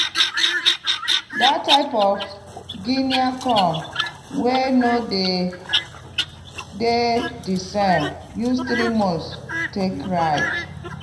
dat type of guinea corn wey no dey di same use three month take ripe.